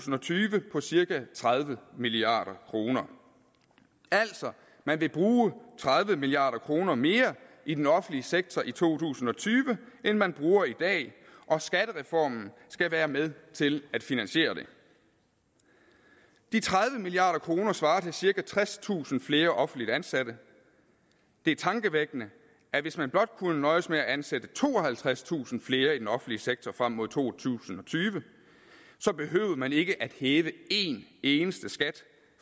tyve på cirka tredive milliard kroner altså man vil bruge tredive milliard kroner mere i den offentlige sektor i to tusind og tyve end man bruger i dag og skattereformen skal være med til at finansiere det de tredive milliard kroner svarer til cirka tredstusind flere offentligt ansatte det er tankevækkende at hvis man blot kunne nøjes med at ansætte tooghalvtredstusind flere i den offentlige sektor frem mod to tusind og tyve behøvede man ikke at hæve en eneste skat